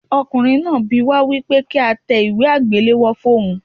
Ọkùnrin náà bi wá wípé kí á tẹ ìwé àgbéléwò fún ohun.